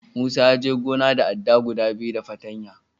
Musa ya je gona da adda guda biyu da fartanya.